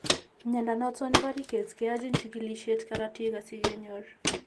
Mnyondo noton nebo Rickets keyachin chikilisiet karatik asige nyor